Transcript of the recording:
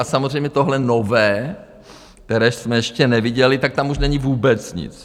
A samozřejmě tohle nové, které jsme ještě neviděli, tak tam už není vůbec nic.